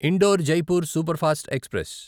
indoor Jaipur superfast express